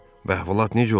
Bəhvəlat necə olub?